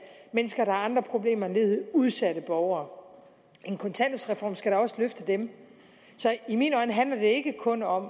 mennesker der har andre problemer end ledighed udsatte borgere en kontanthjælpsreform skal da også løfte dem så i mine øjne handler det ikke kun om